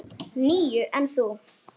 Níu, en þú?